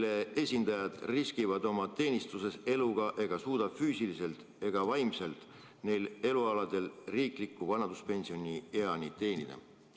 Nende esindajad riskivad oma teenistuses eluga ega suuda füüsiliselt ega vaimselt neil elualadel riikliku vanaduspensioni eani teenida.